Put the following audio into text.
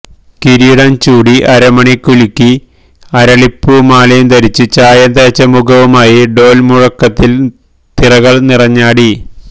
കിരീടം ചൂടി അരമണി കിലുക്കി അരളിപ്പൂ മാലയും ധരിച്ച് ചായം തേച്ച മുഖവുമായി ഡോൽമുഴക്കത്തിൽ തിറകൾ നിറഞ്ഞാടി